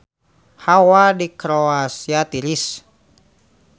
Hawa di Kroasia tiris